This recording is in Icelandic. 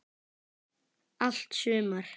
Allt sumar